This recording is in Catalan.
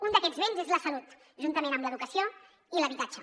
un d’aquests béns és la salut juntament amb l’educació i l’habitatge